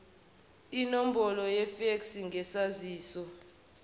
inombolo yefeksi ngesaziso